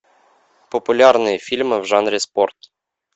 популярные фильмы в жанре спорт